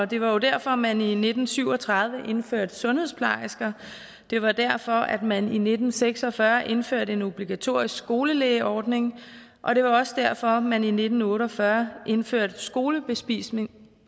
det var jo derfor at man i nitten syv og tredive indførte sundhedsplejersker det var derfor at man i nitten seks og fyrre indførte en obligatorisk skolelægeordning og det var også derfor at man i nitten otte og fyrre indførte skolebespisning